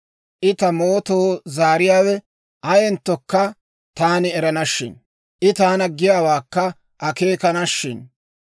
I ta mootoo zaariyaawe ayenttokka taani erana shin! I taana giyaawaakka akeekana shin!